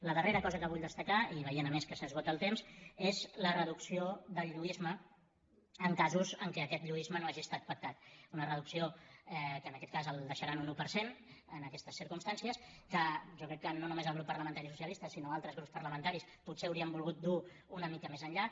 la darrera cosa que vull destacar i veient a més que s’esgota el temps és la reducció del lluïsme en casos en què aquest lluïsme no hagi estat pactat una reducció que en aquest cas el deixarà en un un per cent en aquestes circumstàncies que jo crec que no només el grup parlamentari socialista sinó altres grups parlamentaris potser haurien volgut dur una mica més enllà